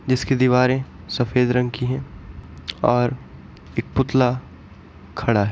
जिसकी दीवारें सफेद रंग की हैं और एक पुतला खड़ा है।